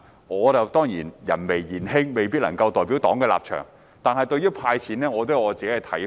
我人微言輕，未必能夠代表黨的立場，但對於"派錢"，我也有自己的看法。